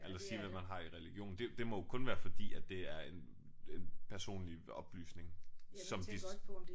Eller sige hvad man har i religion. Det det må jo kun være fordi at det er en en personlig oplysning som de